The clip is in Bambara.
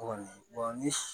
Kɔni